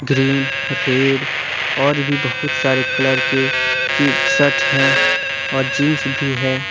Green red और भी बहुत सारे कलर के की शर्ट हैं और जींस भी है।